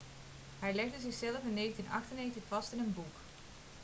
hij legde zichzelf in 1998 vast in een boek